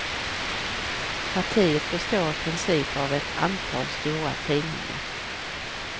Partiet består i princip av ett antal stora tidningar.